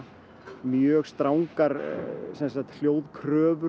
mjög strangar